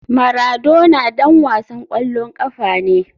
Maradona ɗan wasan ƙwallon ƙafa ne.